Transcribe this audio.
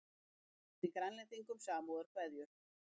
Sendi Grænlendingum samúðarkveðjur